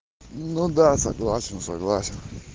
ну да согласен согласен